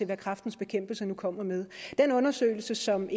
hvad kræftens bekæmpelse nu kommer med den undersøgelse som